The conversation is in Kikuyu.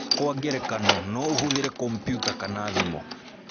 Kwa ngerekano, no ũhũthĩre kompiuta kana thimũ.